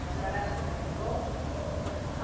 A senhora acha que vai ser bom?